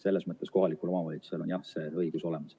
Selles mõttes kohalikul omavalitsusel on jah see õigus olemas.